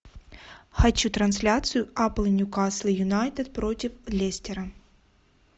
хочу трансляцию апл ньюкасл юнайтед против лестера